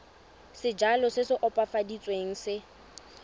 sejalo se se opafaditsweng se